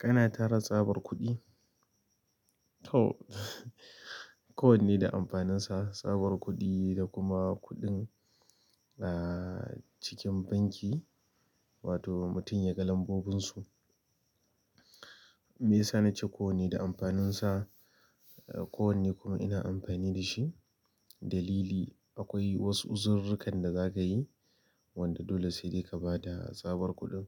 Kana tara tsabar kuɗi? To ko wanne da amfaninsa, tsabar kuɗi da kuma kuɗin, ah, cikin banki wato mutum yaga lambobinsu. Me ya sa na ce kowanne da amfaninsa? Ah, kowanne kuma ina amfani da shi. Dalili akwai wasu uzururrukar da zaka yi wanda dole sai dai ka bada tsabar kuɗin